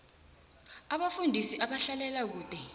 abafundisi abahlalela kude